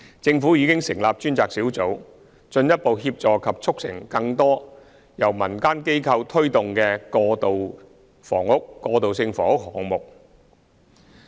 政府已成立專責小組，進一步協助及促成更多由民間機構推動的過渡性房屋項目。